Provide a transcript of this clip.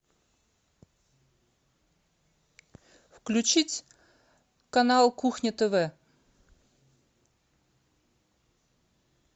включить канал кухня тв